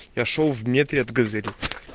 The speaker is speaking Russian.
я шёл в метре от газели